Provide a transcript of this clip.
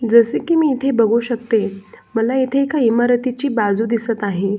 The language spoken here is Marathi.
जसे की मी इथे बघू शकते मला इथे एका इमारतीची बाजू दिसत आहे.